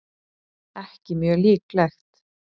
ekki mjög líklegt